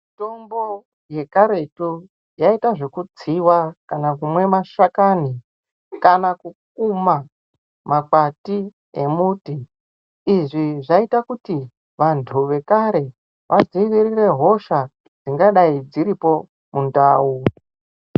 Mitombo yekaretu yaiita zvekutsiwa kana kumwa mashakani kana kukuma makwati emuti izvi zvaiita kuti vanthu vekare vadziirire hosha dzingadei dziripo mundau.